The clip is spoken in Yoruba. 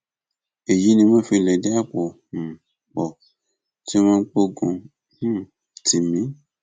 èyí ni wọn fi lẹdí àpò um pọ tí wọn gbógun um tì mí